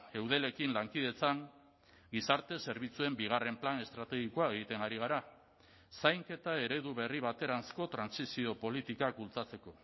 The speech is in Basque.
eudelekin lankidetzan gizarte zerbitzuen bigarren plan estrategikoa egiten ari gara zainketa eredu berri bateranzko trantsizio politikak bultzatzeko